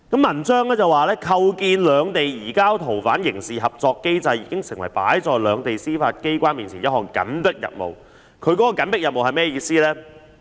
文章指出："構建兩地移交逃犯刑事合作機制已經成為擺在兩地司法機關面前一項緊迫任務"，而緊迫任務是甚麼意思呢？